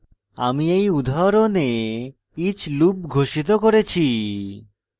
আমি এই উদাহরণে each loop ঘোষিত করেছি